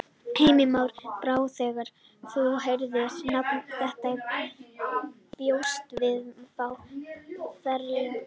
Heimir Már: Brá þér þegar þú heyrðir nafnið þitt eða bjóstu við að fá verðlaunin?